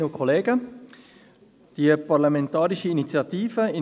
Die SAK hat die Parlamentarische Initiative «